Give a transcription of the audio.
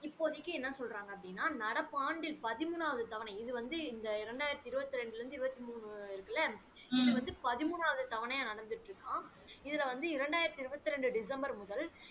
இப்போதிக்கு என்ன சொல்றாங்க அப்படின்னா நடப்பு ஆண்டில் பதிமூனாவது தவணை இது வந்து இந்த இரண்டாயிரத்து இருபத்து இரண்டில் இருந்து இருபத்து மூணு இருக்குல்ல இது வந்து பதிமூனாவது தவணையாக நடந்துட்டு இருக்காம இதுல வந்து இரண்டாயிரத்து இருபத்து இரண்டு டிசம்பர் முதல்